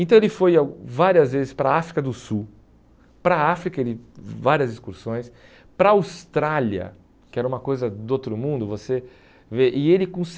Então ele foi ao várias vezes para a África do Sul, para a África ele várias excursões, para a Austrália, que era uma coisa do outro mundo, você vê, e ele com